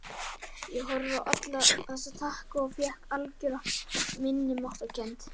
Ég horfði á alla þessa takka og fékk algjöra minnimáttarkennd.